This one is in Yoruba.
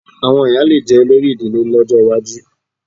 Àwọn ìyá lè jẹ́ olórí ìdílé lọ́jọ́ iwájú